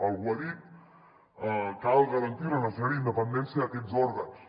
algú ha dit cal garantir la necessària independència d’aquests òrgans